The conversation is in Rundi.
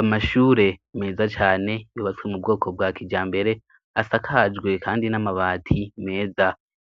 Amashure meza cane yubatswe mu bwoko bwa kijambere asakajwe kandi n'amabati meza.